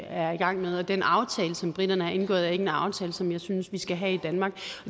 er i gang med og den aftale som briterne har indgået er ikke en aftale som jeg synes vi skal have i danmark